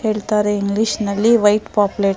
ಹೇಳ್ತಾರೆ ಇಂಗ್ಲಿಷ್ ನಲಿ white pomfret ಅಂತ.